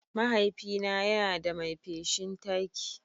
Mahaifina yana da mai feshin taki.